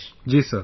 Ji Sir